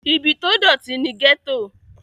ibi tó dọ̀tí ni gẹ́tò